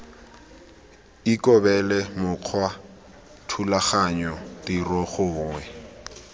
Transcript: ikobele mokgwa thulaganyo tiro gongwe